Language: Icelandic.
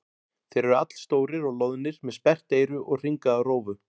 Þeir eru allstórir og loðnir með sperrt eyru og hringaða rófu.